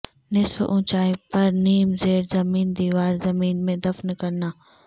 نصف اونچائی پر نیم زیر زمین دیوار زمین میں دفن کرنا